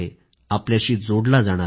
आपल्याशी जोडला जाणार आहे